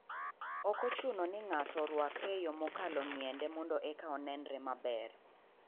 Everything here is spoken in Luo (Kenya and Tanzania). Ok ochuno ni ng'ato orwakre e yo mokalo ng'iende mondo eka onenre maber